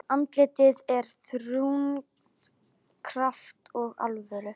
Andlitið er þrungið krafti og alvöru.